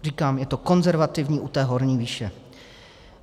Říkám, je to konzervativní u té horní výše.